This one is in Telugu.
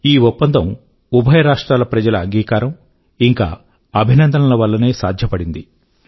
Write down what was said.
ఈ ఒప్పందం ఉభయ రాష్ట్రాల ప్రజల ఒప్పుదల ఇంకా అభినందనల వల్లనే సాధ్యపడింది